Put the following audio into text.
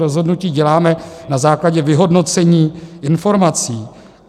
Rozhodnutí děláme na základě vyhodnocení informací.